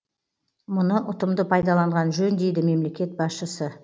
мұны ұтымды пайдаланған жөн дейді мемлекет басшысы